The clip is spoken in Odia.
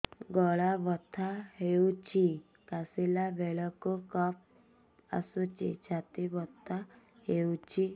ଗଳା ବଥା ହେଊଛି କାଶିଲା ବେଳକୁ କଫ ଆସୁଛି ଛାତି ବଥା ହେଉଛି